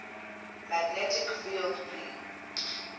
magnetic field b